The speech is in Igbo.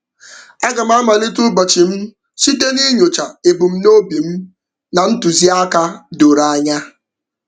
Aga m amalite ụbọchị m site n'inyocha ebumnobi m na ntụziaka doro anya.